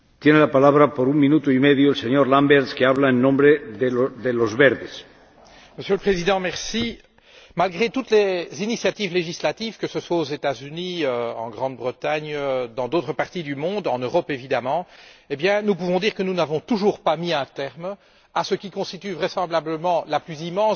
Monsieur le Président, malgré toutes les initiatives législatives, que ce soit aux États Unis, en Grande Bretagne, dans d'autres parties du monde, en Europe évidemment, nous pouvons dire que nous n'avons toujours pas mis un terme à ce qui constitue vraisemblablement la plus immense distorsion de marché de l'histoire de l'économie moderne, à savoir l'existence de groupes financiers